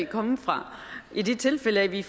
komme fra i det tilfælde vi